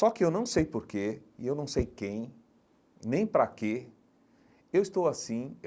Só que eu não sei porquê, e eu não sei quem, nem para quê, eu estou assim.